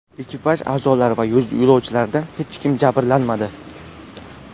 Ekipaj a’zolari va yo‘lovchilardan hech kim jabrlanmadi.